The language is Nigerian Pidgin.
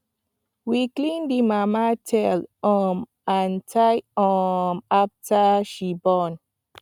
we clean the mama tail um and thigh um after she born